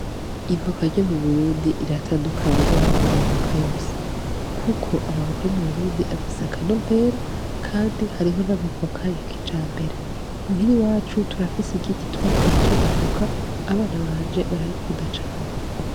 Ivoka ryo mu Burundi riratandukanye n’ayandi mavoka yose, kuko amavoka yo mu Burundi afise akanovera, kandi hariho n’amavoka ya kijambere. Muhira iwacu turafise igiti twateye c’amavoka, abana banje barayakunda cane.